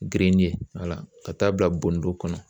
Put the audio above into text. ka taa bila bodon kɔnɔ.